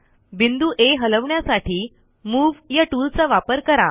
बिंदू आ हलवण्यासाठी मूव या टूलचा वापर करा